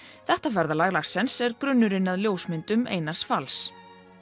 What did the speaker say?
þetta ferðalag Larsens er grunnurinn að ljósmyndum Einars fals